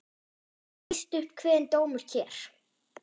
Víst upp kveðinn dómur hér.